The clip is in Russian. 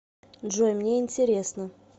джой мне интересно